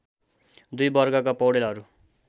दुई वर्गका पौडेलहरू